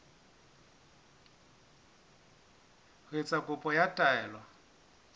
ho etsa kopo ya taelo